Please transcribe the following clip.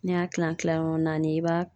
N'i y'a kilan kilanyɔrɔ naani i b'a